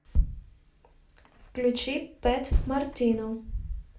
включи пэт мартино